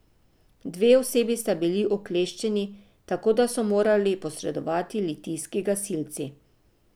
Dve osebi sta bili ukleščeni, tako da so morali posredovati litijski gasilci.